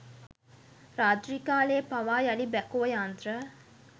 රාත්‍රීකාලයේ පවා යළි බැකෝ යන්ත්‍ර